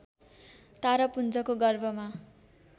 तारापुञ्जको गर्भमा